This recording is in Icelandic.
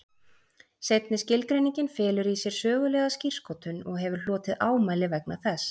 Seinni skilgreiningin felur í sér sögulega skírskotun og hefur hlotið ámæli vegna þess.